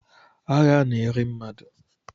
Agha na-eri mmadụ